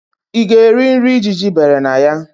Ị ga-eri nri ijiji bere na ya?